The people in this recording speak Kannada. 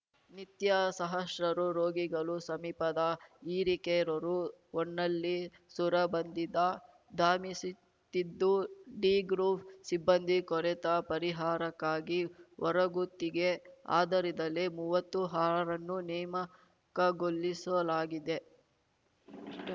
ನಿತ್ಯ ಸಹಸ್ರಾರು ರೋಗಿಗಳು ಸಮೀಪದ ಹಿರೇಕೇರೂರು ಹೊನ್ನಳ್ಳಿ ಸೊರಬಂದಿದ್ದ ಧಾಮಿಸುತ್ತಿದ್ದು ಡಿಗ್ರೂಪ್‌ ಸಿಬ್ಬಂದಿ ಕೊರೆತ ಪರಿಹಾರಕ್ಕಾಗಿ ಹೊರಗುತ್ತಿಗೆ ಆಧರಿದಲ್ಲಿ ಮೂವತ್ತು ಅರ್ಹರನ್ನು ನೇಮಕಗೊಳ್ಳಿಸಲಾಗಿದೆ